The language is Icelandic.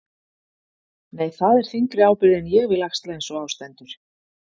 Nei, það er þyngri ábyrgð en ég vil axla eins og á stendur.